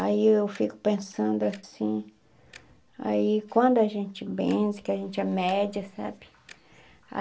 Aí eu fico pensando assim, aí quando a gente benze, que a gente é média, sabe?